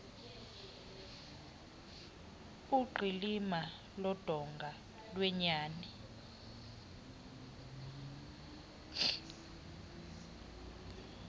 uqilima lodonga lwenyani